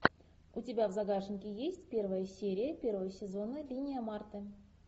у тебя в загашнике есть первая серия первого сезона линия марты